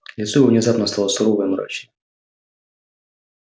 лицо его внезапно стало сурово и мрачно